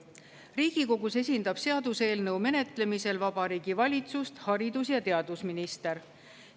Riigikogus esindab seaduseelnõu menetlemisel Vabariigi Valitsust haridus‑ ja teadusminister.